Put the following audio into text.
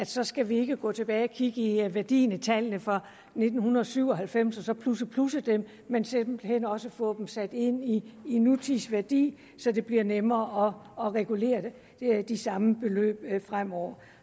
så skal vi ikke gå tilbage og kigge i værdien i tallene for nitten syv og halvfems og så plusse plusse dem men simpelt hen også få dem sat ind i i nutidsværdi så det bliver nemmere at regulere de samme beløb fremover